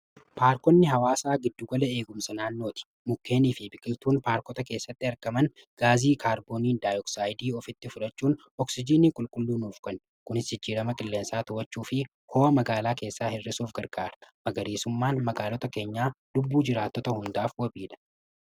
Paarkonni hawwaasaa gidduu gala eegumsa naannooti. Mukkeenii fi biqiltuun paarkota keessatti argaman gaasii kaarboondaayii'ooxayidii ofitti fudhachuun oxiijinii qulqulluu nuuf kennu. Kunis jijjiirama qilleensaa to'achuu fi ho'a magaalaa keessaa hir'isuuf gargaara. Magariisummaan magaloota keenyaa lubbuu jiraattota hundaaf wabiidha.